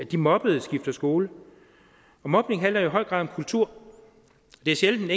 de mobbede skifter skole mobning handler i høj grad om kulturen det er sjældent